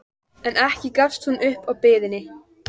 En ekki gafst hún upp á biðinni.